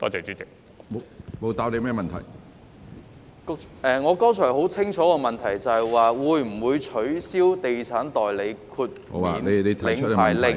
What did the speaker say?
主席，我剛才提出的補充質詢很清楚，就是會否取消《地產代理令》......